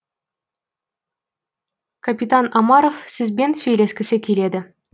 капитан омаров сізбен сөйлескісі келеді